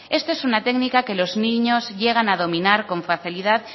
esto es una técnica que los niños llegan a dominar con facilidad